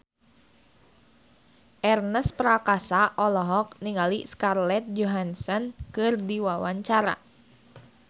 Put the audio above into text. Ernest Prakasa olohok ningali Scarlett Johansson keur diwawancara